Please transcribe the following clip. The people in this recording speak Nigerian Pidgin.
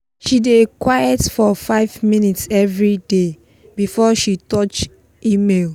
she dey quite for 5 minutes everyday before she touch email